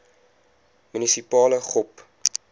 munisipale gop